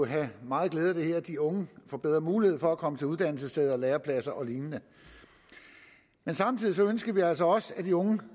have meget glæde af det her de unge får bedre muligheder for at komme til uddannelsessteder lærepladser og lignende samtidig ønsker vi altså også at de unge